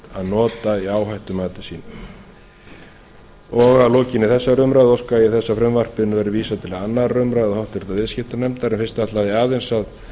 óheimilt að nota í áhættumati sínu að lokinni þessari umræðu óska ég þess að frumvarpinu verði vísað til annarrar umræðu og háttvirtur viðskiptanefndar en fyrst ætla ég aðeins að